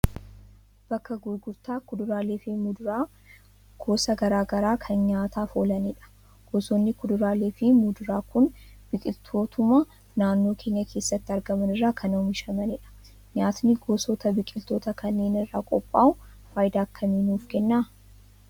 Bakka gurgurtaa kuduraalee fi muduraa gosa garaa kan nyaataaf oolanidha. Gosoonni kuduraalee fi muduraa kun biqiltootuma naannoo keenya keessatti argaman irraa kan oomishamanidha. Nyaatni gosoota biqiltootaa kanneen irraa qophaa'u faayidaa akkamii nuuf kenna?